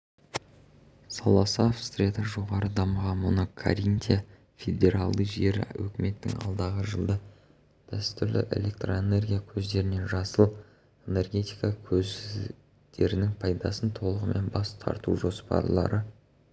саласы австрияда жоғары дамыған мұны каринтия федералды жері үкіметінің алдағы жылда дәстүрлі электроэнергия көздерінен жасыл энергетика көздерінің пайдасына толығымен бас тартужоспарлары